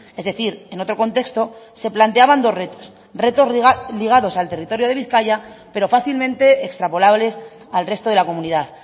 es decir en otro contexto se planteaban dos retos retos ligados al territorio de bizkaia pero fácilmente extrapolables al resto de la comunidad